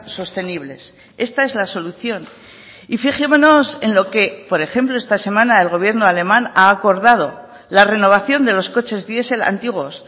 sostenibles esta es la solución y fijémonos en lo que por ejemplo esta semana el gobierno alemán ha acordado la renovación de los coches diesel antiguos